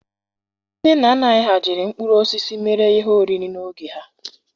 Ndị nna nna anyị ha jiri mkpụrụ osisi mere ihe oriri n'oge ha.